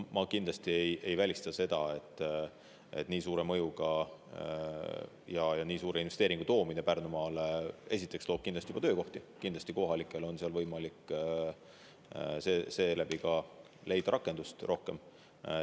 Ma kindlasti ei välista seda, et nii suure mõjuga ja nii suure investeeringu toomine Pärnumaale loob töökohti, kohalikel on seal võimalik seeläbi leida rohkem rakendust.